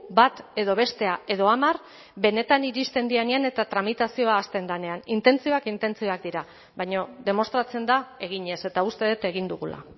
bat edo bestea edo hamar benetan iristen direnean eta tramitazioa hasten denean intentzioak intentzioak dira baina demostratzen da eginez eta uste dut egin dugula